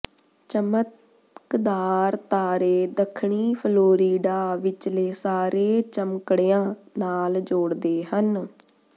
ਚਮਕਦਾਰ ਤਾਰੇ ਦੱਖਣੀ ਫਲੋਰੀਡਾ ਵਿਚਲੇ ਸਾਰੇ ਚਮਕੜਿਆਂ ਨਾਲ ਜੋੜਦੇ ਹਨ